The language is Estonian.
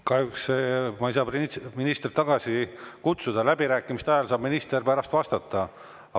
Kahjuks ma ei saa ministrit tagasi kutsuda, aga läbirääkimiste ajal saab minister pärast vastata.